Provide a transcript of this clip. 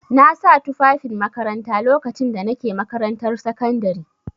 Na sa tufafin makaranta lokacin da na ke makarantar sakandare.